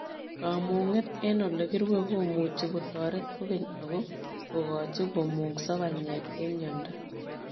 Kamungeet eng olekirue komuchii kotoreet kokeny ako kogochii komungsoo panyeek eng miondoo.